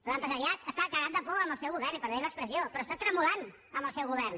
l’empresariat està cagat de por amb el seu govern i perdonin l’expressió però està tremolant amb el seu govern